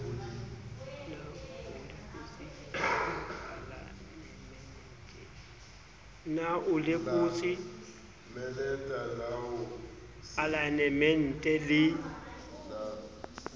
na o lekotse alaenemente le